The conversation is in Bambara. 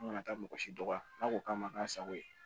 An kana taa mɔgɔ si dɔgɔya n'a ko k'a ma k'a sago ye